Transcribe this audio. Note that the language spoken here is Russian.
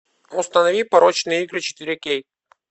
установи порочные игры четыре кей